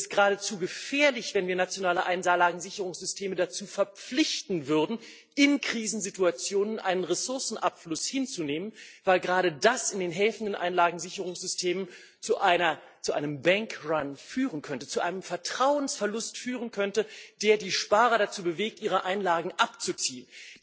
Es ist geradezu gefährlich, wenn wir nationale Einlagensicherungssysteme dazu verpflichten würden, in Krisensituationen einen Ressourcenabfluss hinzunehmen, weil gerade das in den helfenden Einlagensicherungssystemen zu einem bank run führen könnte, zu einem Vertrauensverlust führen könnte, der die Sparer dazu bewegt, ihre Einlagen abzuziehen.